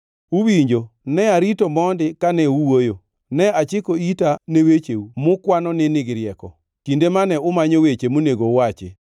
Uwinjo, ne arito mondi kane uwuoyo, ne achiko ita ne wecheu mukwano ni nigi rieko; kinde mane umanyo weche monego uwachi,